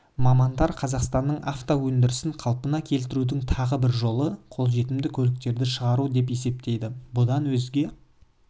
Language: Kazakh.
мамандар қазақстанның авто өндірісін қалпына келтірудің тағы бір жолы қолжетімді көліктерді шығару деп есептейді бұдан өзге